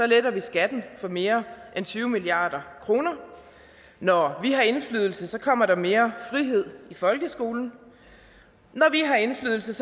letter vi skatten for mere end tyve milliard kroner når vi har indflydelse kommer der mere frihed i folkeskolen når vi har indflydelse